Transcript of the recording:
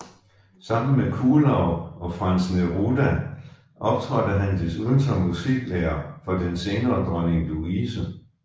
Sammen med Kuhlau og Franz Neruda optrådte han desuden som musiklærer for den senere dronning Louise